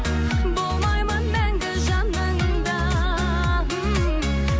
болмаймын мәңгі жаныңда